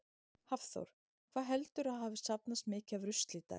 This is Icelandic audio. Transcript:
Hafþór: Hvað heldurðu að hafi safnast mikið af rusli í dag?